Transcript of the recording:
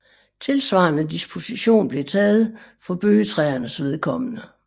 Tilsvarende disposition blev taget for bøgetræernes vedkommende